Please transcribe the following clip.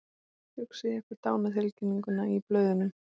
Hugsið ykkur dánartilkynninguna í blöðunum.